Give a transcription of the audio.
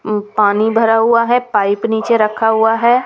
पानी भरा हुआ है पाइप नीचे रखा हुआ है।